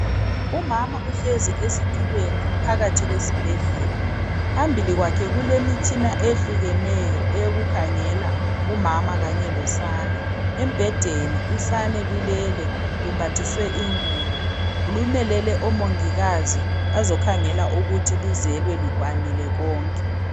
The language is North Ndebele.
Umama uhlezi esitulweni phakathi kwesibhedlela. Phambili kwakhe kulemitshina eyehlukeneyo eyokukhangela umama kanye losana. Embhedeni usane lulele lumbathiswe ingubo, lumelele oMongikazi bazokhangela ukuthi luzelwe lukwanile konke.